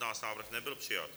Návrh nebyl přijat.